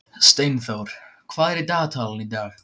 Steindór, hvað er í dagatalinu í dag?